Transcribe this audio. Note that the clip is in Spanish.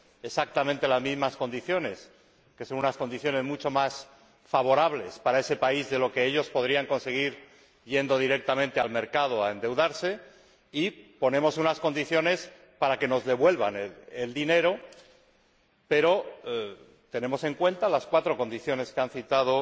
exactamente en las mismas condiciones —que son unas condiciones mucho más favorables para esos países de las que ellos podrían conseguir yendo directamente al mercado a endeudarse— y poner unas condiciones para que nos devuelvan el dinero, pero tenemos en cuenta las cuatro condiciones que han citado